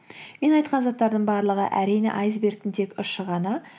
мен айтқан заттардың барлығы әрине айсбергтің тек ұшы ғана